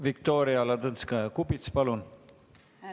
Viktoria Ladõnskaja-Kubits, palun!